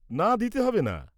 -না দিতে হবে না।